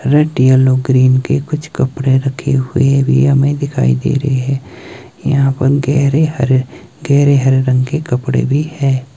red yellow green के कुछ कपड़े रखे हुए भी हमें--